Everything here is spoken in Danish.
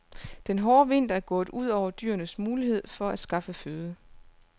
Den hårde vinter er gået ud over dyrenes mulighed for at skaffe føde.